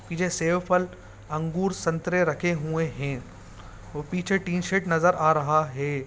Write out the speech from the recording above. पीछे सेब फल अंगूर संतरे रखे हुए है ओर पीछे टी_शर्ट नजर आ रहा है।